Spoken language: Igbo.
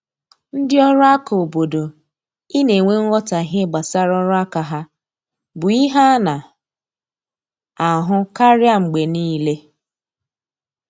Ndị ọrụ aka obodo I na enwe nghotahie gbasara ọrụ aka ha bụ ihe ana ahụ karịa mgbe niile